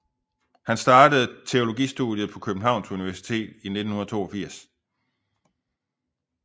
Han startede teologistudiet på Københavns Universitet i 1982